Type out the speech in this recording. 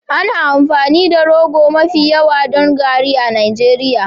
Ana amfani da rogo mafi yawa don garri a Najeriya.